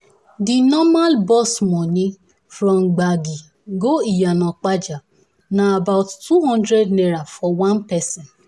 the normal bus money from gbagi go iyana-ipaja na about ₦200 for one person